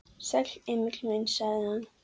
Sæll, Emil minn, sagði hann.